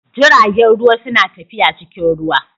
Jiragen ruwa suna tafiya cikin ruwa.